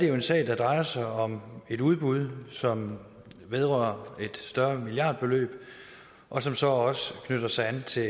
er en sag der drejer sig om et udbud som vedrører et større milliardbeløb og som så også knytter sig an til